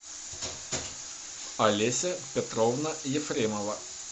олеся петровна ефремова